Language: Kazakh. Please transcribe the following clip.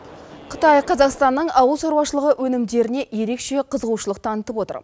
қытай қазақстанның ауыл шаруашылық өнімдеріне ерекше қызығушылық танытып отыр